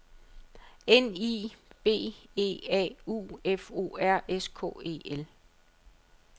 N I V E A U F O R S K E L